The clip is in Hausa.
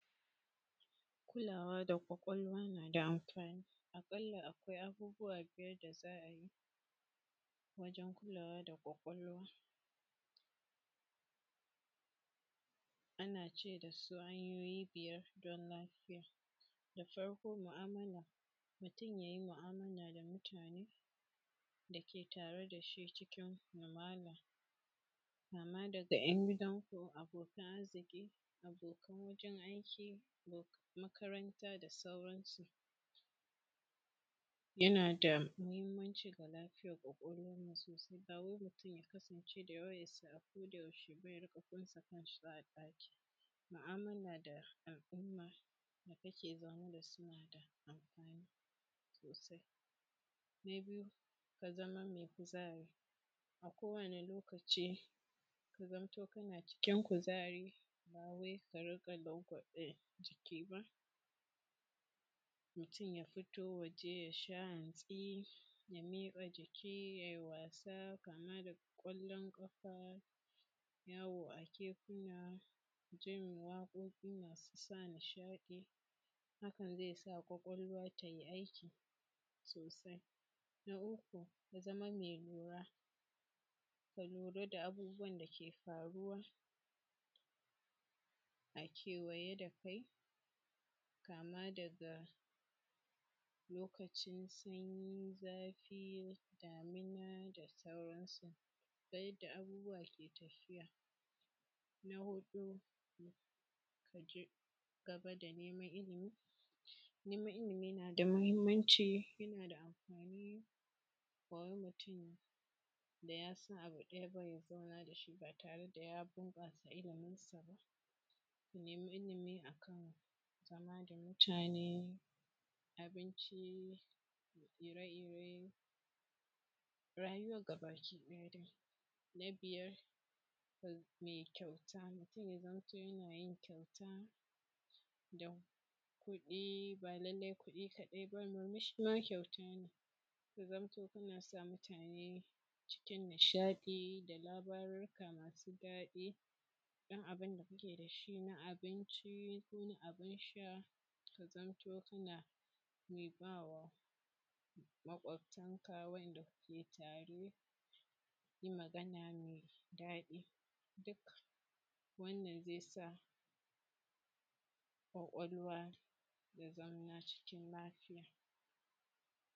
Kulawa da kwakwalwa na da amfani, aƙalla akwai abubuwa guda biyar nishaɗantarwa, mene ne nishaɗantarwa? Ba lallai ba ne sai na ba ku dogon maana na ƙamus akan nishaɗantarwa. Abu ne da muka sani cewa za mu iya yi ko muke yi akai-akai a rayuwanmu na kullon, zai iya kasancewa wasanni na motsa jiki, kamar su gudo ko tsalle-tsalle ko wasanni da ake yi na na’urori ko kallon talabijin, duk wannan za a iya sa su ko kuma mu ɗauke su a matsayin nishaɗantarwa .To me nishaɗantarwa take mana a matsayinmu na mutane? Yana samu mu kasance a cikin yanayi me daɗi kaman a cikin yanayi me daɗi a rayuwanmu kamar kuma a cikin yanayi na motsin rai, yana na halitta yana samu mu ji tsoro mu kasance a cikin tsoro mu ji shi a jikinmu ko a yayin da muke kallon wasanni na tsoro. Sai kuma iya samu mu zubar da hawaye a yayin da muke kallon wasanni na tausayi, jimami, ma yawanci muna shiga wani fanni na nishaɗantarwa kamar kallo a na’ura ne kwakwalwa, ko kuma wayoyin salulanmu ko buga wasannin kwallon ƙafa ko masu wasannin ƙafa, da dai sauran. Wasanni da ana kiran su da nishaɗantarwa ne amma tanbayata a nan shi ne, wani lokaci ne kake keɓewa don nishaɗantarwa? A rana ko a sati ko a wata koma shekara akan lokacin da kake warewa saboda abu me matuƙar mahinmanci a rayuwanka. Kaman samun lokaci tare da iyalanka, ko wani abu da kake so ka cinma buri a rayuwanka, kamar kuma ko cigaban karatunka, kamar halattar wani ganawa na aiki, kaman gyaran wani abu da ya ɓaci a gidanka ko gyaran abun hawanka da dai sauransu. To wani lokaci muke warewa wa’yannan ababe masu matuƙar anfani akan nishaɗantarwa? Shin kana adana kuɗi, muna adanan kuɗi saboda inganta rayuwanmu da ta iyalanmu ko kuma a’a muna bin wurin nishaɗi da wuraren shaƙatawa mu kashe kuɗin a can har da ɗaukan nauyin wasu mutane ko kuma munanne a gaban talabijin ga kayan ciye-ciye a gabanmu muna gani da muka fi so, kuma cikin irin halin da muna cikin mutanen da muke samun kanmu a cikin halin rashin natsuwa, muna gurin aiki a lokacin da zai sa a zauna cikin lafiya.